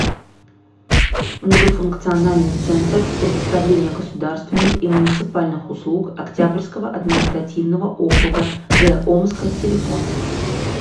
многофункциональный центр предоставления государственных и муниципальных услуг октябрьского административного округа г омска телефон